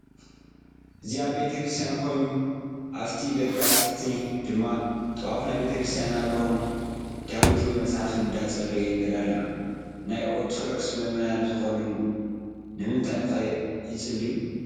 አዚ አብ ቤተክርሰትያን ኮይኑ አፉቲ ደጋአፋፈት ድማ ጥዋፋ ናይ ቤተክርስትያን አብርሆም ዳዊት ወይ መፃሓፍ እዳፀለዩ ንርኢ አለና። ናይ አረደቶክሰ መእመናይ ዝከኑ ነምንታይ ከ ይፂልዩ?